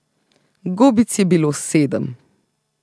Gobic je bilo sedem.